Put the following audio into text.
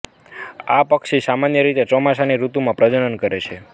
આ પક્ષી સામાન્ય રીતે ચોમાસાની ઋતુમાં પ્રજનન કરે છે